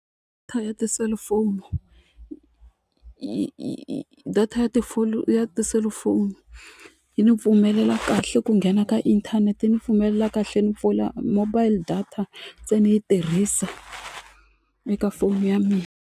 ya tiselifoni data ya ya tiselufoni yi ni pfumelela kahle ku nghena ka inthanete yi ni pfumelela kahle ni pfula mobile data se ni yi tirhisa eka foni ya mina.